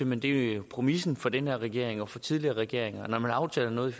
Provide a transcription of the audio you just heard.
men det er jo præmissen for denne regering og for tidligere regeringer at når man har aftalt noget i